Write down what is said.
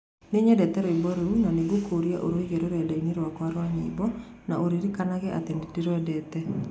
Nĩ nyendete rwĩmbo rũu, na nĩ ngũkũũria ũrũige rũrenda-inĩ rwakwa rwa rwĩmbo na ũririkanage atĩ nĩ ndĩrwendete